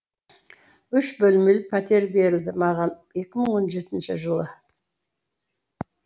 үш бөлмелі пәтер берілді маған екі мың он жетінші жылы